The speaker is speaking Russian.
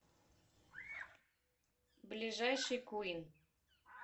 ближайший квин